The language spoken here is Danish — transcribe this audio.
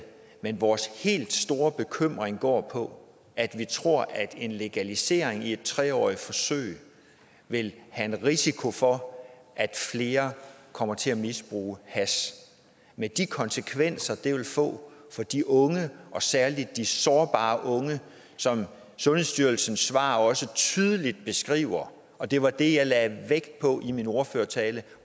men vores helt store bekymring går på at vi tror at en legalisering i et tre årig t forsøg vil have en risiko for at flere kommer til at misbruge hash med de konsekvenser det vil få for de unge og særlig de sårbare unge som sundhedsstyrelsen svar også tydeligt beskriver og det var det jeg lagde vægt på i min ordførertale